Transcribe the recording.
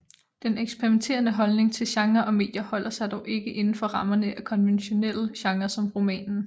Den eksperimenterende holdning til genrer og medier holder sig dog ikke inden for rammerne af konventionelle genre som romanen